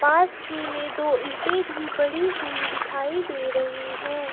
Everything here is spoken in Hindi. पास ही में दो ईंटें भी पड़ी हुई दिखाई दे रही है।